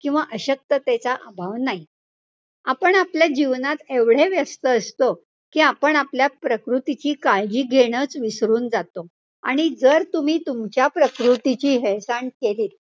किंवा अशक्ततेचा अभाव नाही. आपण आपल्या जीवनात एवढे व्यस्त असतो कि आपण आपल्या प्रकृतीची काळजी घेणंच विसरून जातो. आणि जर तुम्ही तुमच्या प्रकृतीची हेळसांड केलीत,